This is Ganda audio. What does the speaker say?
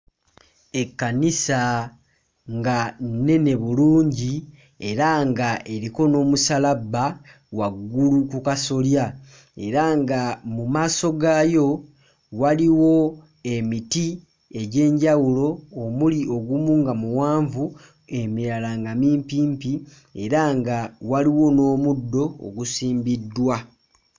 Ekkanisa nga nnene bulungi era nga eriko n'omusaalabba waggulu ku kasolya era nga mu maaso gaayo waliwo emiti egy'enjawulo omuli ogumu nga muwanvu emirala nga mimpimpi era nga waliwo n'omuddo ogusimbiddwa.